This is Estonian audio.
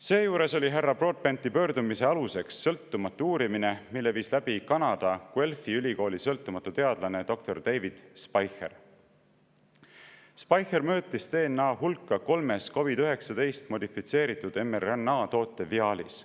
Seejuures oli härra Broadbenti pöördumise aluseks sõltumatu uurimine, mille viis läbi Kanada Guelphi ülikooli sõltumatu teadlane doktor David Speicher, kes mõõtis DNA hulka kolmes COVID‑19 modifitseeritud mRNA toote viaalis.